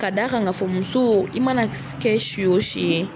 Ka da kan ka fɔ musow i mana kɛ si o si ye.